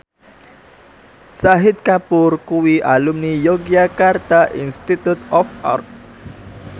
Shahid Kapoor kuwi alumni Yogyakarta Institute of Art